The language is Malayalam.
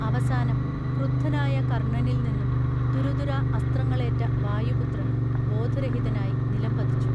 അവസാനം ക്രുദ്ധനായ കർണനിൽനിന്നും തുരുതുരാ അസ്ത്രങ്ങളേറ്റ വായുപുത്രൻ ബോധരഹിതനായി നിലംപതിച്ചു